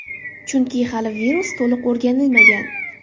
Chunki hali virus to‘liq o‘rganilmagan.